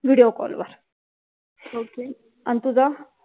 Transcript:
video call वर okay आणि तू जा